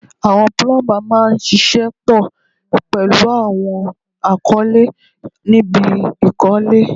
Àwọn púlúḿbà máa ń ṣiṣẹ́ pọ̀ pẹ̀lú àwọn akọ́lé níbi ìkọ́lé